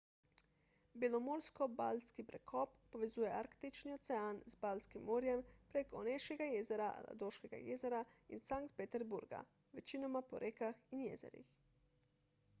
belomorsko-baltski prekop povezuje arktični ocean z baltskim morjem prek oneškega jezera ladoškega jezera in sankt peterburga večinoma po rekah in jezerih